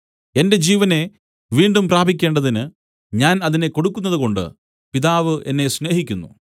എന്റെ ജീവനെ വീണ്ടും പ്രാപിക്കേണ്ടതിന് ഞാൻ അതിനെ കൊടുക്കുന്നതുകൊണ്ട് പിതാവ് എന്നെ സ്നേഹിക്കുന്നു